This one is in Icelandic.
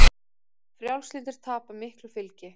Frjálslyndir tapa miklu fylgi